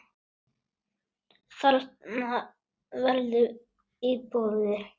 Þarna verði íbúðir.